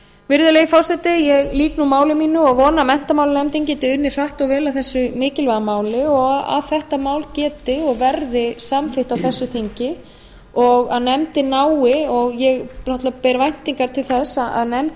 virðulegi forseti ég lýk nú máli mínu og vona að menntamálanefnd geti unnið hratt og vel að þessu mikilvæga máli og að þetta mál geti og verði samþykkt á þessu þingi og að nefndin nái og ég náttúrlega ber væntingar til þess að nefndin